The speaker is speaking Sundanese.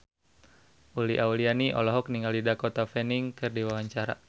Uli Auliani olohok ningali Dakota Fanning keur diwawancara